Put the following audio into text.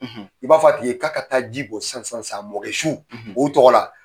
I b'a fɔ a tigi ye k'a ka taa ji bɔn san san san a mɔkɛ su o tɔgɔ la.